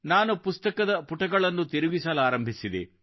ನಾನು ಪುಸ್ತಕದ ಪುಟಗಳನ್ನು ತಿರುಗಿಸಲಾರಂಭಿಸಿದೆ